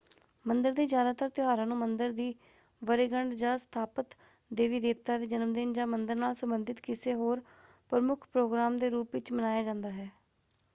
ਮੰਦਰ ਦੇ ਜਿਆਦਾਤਰ ਤਿਉਹਾਰਾਂ ਨੂੰ ਮੰਦਰ ਦੀ ਵਰੇਗੰਢ੍ਹ ਜਾਂ ਸਥਾਪਤ ਦੇਵੀ -ਦੇਵਤਾ ਦੇ ਜਨਮਦਿਨ ਜਾਂ ਮੰਦਰ ਨਾਲ ਸੰਬੰਧਤ ਕਿਸੇ ਹੋਰ ਪ੍ਰਮੁੱਖ ਪ੍ਰੋਗਰਾਮ ਦੇ ਰੂਪ ਵਿੱਚ ਮਨਾਇਆ ਜਾਂਦਾ ਹੈ।